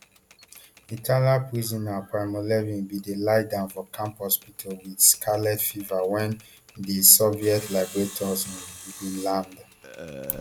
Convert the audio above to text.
italian prisoner primo levi bin dey lie down for camp hospital wit scarlet fever wen di soviet liberators um bin land